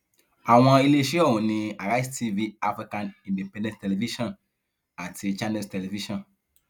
àwọn iléeṣẹ ọhún ni àrísẹ tv african independent television àti channels television